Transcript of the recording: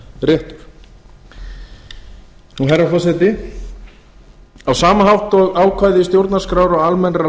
brotinn réttur herra forseti á sama hátt og ákvæði stjórnarskrár og almennra